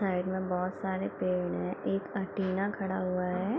Side में बहुत सारे पेड़ हैं एक एंटीना खड़ा हुआ है।